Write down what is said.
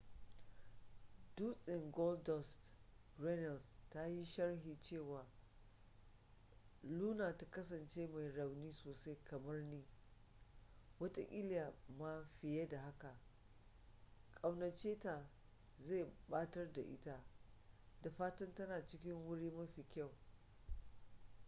dustin goldust” runnels ta yi sharhi cewa luna ta kasance mai rauni sosai kamar ni ... wataƙila ma fiye da haka ... ƙaunace ta zai batar da ita ... da fatan tana cikin wuri mafi kyau.